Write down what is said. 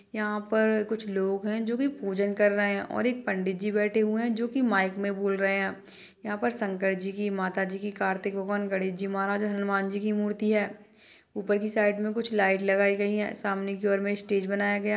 यहाँ पर कुछ लोग है जो की पूजन कर रहे है और एक पंडित जी बैठे है जो की माइक मे बोल रहे है यहाँ पर शंकर जी की माता जी की कार्तिक भगवान गणेश जी महाराज हनुमान जी की मूर्ति है ऊपर की साइड मे कुछ लाइट लगाई गई है सामने की ओर मे स्टेज बनाया गया--